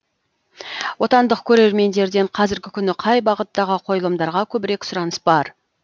отандық көрермендерден қазіргі күні қай бағыттағы қойылымдарға көбірек сұраныс бар